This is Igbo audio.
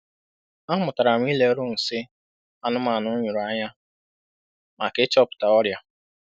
A mụtara m ileru nsị anụmanụ nyụrụ anya maka ịchọpụta ọrịa.